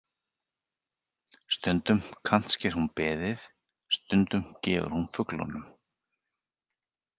Stundum kantsker hún beðið, stundum gefur hún fuglunum.